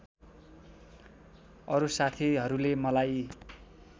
अरू साथीहरूले मलाई